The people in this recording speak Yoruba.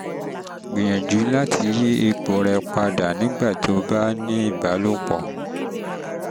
gbìyànjú láti yí ipò rẹ padà nígbà tó o bá ń ní ìbálòpọ̀ ní ìbálòpọ̀